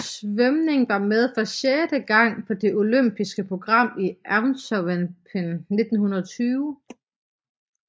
Svømning var med for sjette gang på det olympiske program i Antwerpen 1920